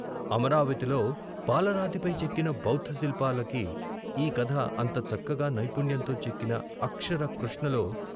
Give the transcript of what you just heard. అమరావతిలో పాలరాతిపై చెక్కిన బౌద్ధ శిల్పాలకి ఈ కథ అంత చక్కగా నైపుణ్యంతో చెక్కిన అక్షర కృష్ణలో.